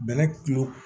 Bɛlɛ tulo